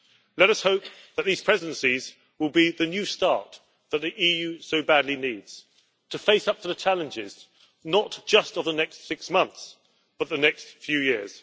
Let us hope that these presidencies will be the new start that the EU so badly needs to face up to the challenges not just of the next six months, but of the next few years.